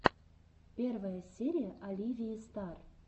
первая серия оливии стар